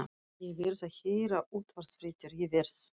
Ég verð að heyra útvarpsfréttir, ég verð.